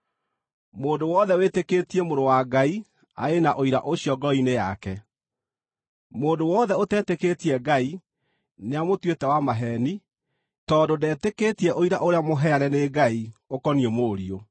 Mũndũ wothe wĩtĩkĩtie Mũrũ wa Ngai arĩ na ũira ũcio ngoro-inĩ yake. Mũndũ wothe ũtetĩkĩtie Ngai nĩamũtuĩte wa maheeni, tondũ ndetĩkĩtie ũira ũrĩa mũheane nĩ Ngai ũkoniĩ Mũriũ.